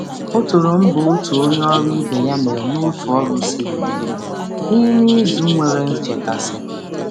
Ọ toro mbọ onye ọrụ ibe ya n’orụ siri ike n’izu jupụtara na nrụgide.